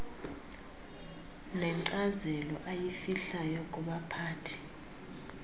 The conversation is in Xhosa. nenkcazelo ayifihlayo kubaphathi